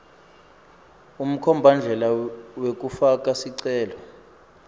umkhombandlela wekufaka sicelo